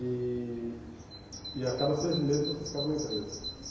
E e a cada seis meses você ficava na empresa.